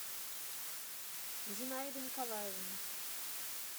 зинаиды николаевны